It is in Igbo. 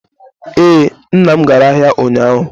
Ee, nna m gara ahịa ụnyaahụ.